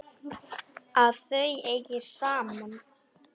Að þau eigi saman.